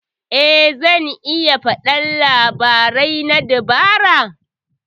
Eh zan iya faɗi labarai na dabara.